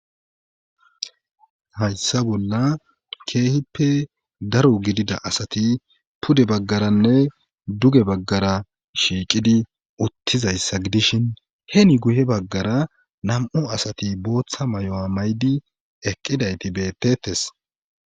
Hayssa bolla keehippe daro gidida asati pude baggaranne duge baggara shiiqidi uttizayssa gidishin he ni guye baggara nam7o asati booththa may7o7a maydi eqqidayti bettettes.